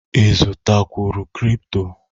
Ị zụtara kwụrụ kripto?